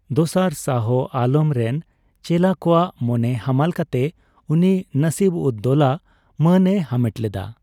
ᱫᱚᱥᱟᱨ ᱥᱟᱦᱚ ᱟᱞᱚᱢ ᱨᱮᱱ ᱪᱮᱞᱟ ᱠᱚᱣᱟᱜ ᱢᱚᱱᱮ ᱦᱟᱢᱟᱞ ᱠᱟᱛᱮ ᱩᱱᱤ 'ᱱᱟᱥᱤᱵᱼᱩᱫᱼᱫᱳᱞᱟ' ᱢᱟᱹᱱᱮ ᱦᱟᱢᱮᱴ ᱞᱮᱫᱟ ᱾